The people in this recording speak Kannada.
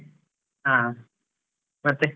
ಹ ಮತ್ತೆ.